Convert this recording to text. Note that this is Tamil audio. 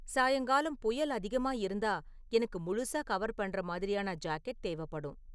சாயங்காலம் புயல் அதிகமா இருந்தா எனக்கு முழுசா கவர் பண்ற மாதிரியான ஜாக்கெட் தேவப்படும்